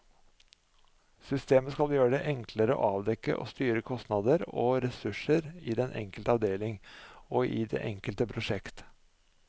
Systemet skal gjøre det enklere å avdekke og styre kostnader og ressurser i den enkelte avdeling og i det enkelte prosjekt.